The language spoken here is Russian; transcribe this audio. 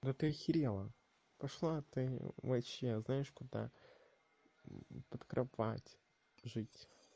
это из сериала пошла ты вообще знаешь куда под кровать жить